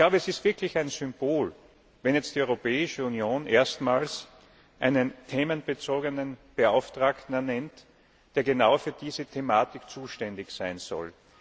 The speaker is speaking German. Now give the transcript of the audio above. Es ist wirklich ein Symbol, wenn jetzt die Europäische Union erstmals einen themenbezogenen Beauftragten ernennt, der genau für diese Thematik zuständig sein soll.